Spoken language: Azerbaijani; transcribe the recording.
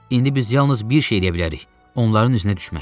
İndi biz yalnız bir şey eləyə bilərik: onların üzünə düşmək.